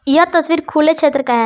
यह तस्वीर खुले क्षेत्र का है।